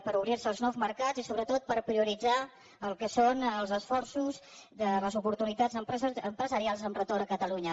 per obrir se als nous mercats i sobretot per prioritzar el que són els esforços de les oportunitats empresarials amb retorn a catalunya